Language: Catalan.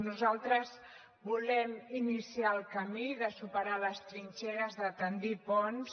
nosaltres volem iniciar el camí de superar les trinxeres de bastir ponts